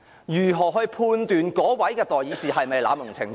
如何判斷議員有否濫用程序呢？